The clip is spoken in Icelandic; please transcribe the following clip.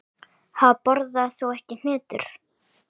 Ha, borðar þú ekki hnetur?